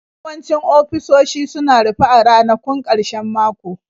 Yawancin ofisoshi suna rufe a ranakun ƙarshen mako.